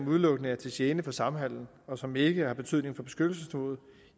udelukkende er til gene for samhandelen og som ikke har betydning for beskyttelsesniveauet